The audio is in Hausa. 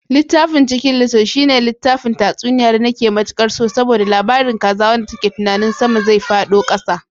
Littafin chicken little shene littafin tatsuniya da bake matikar so, saboda labarin kaza wanda take tunanin sama zai fado kasa.